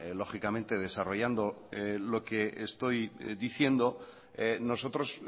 lógicamente desarrollando lo que estoy diciendo nosotros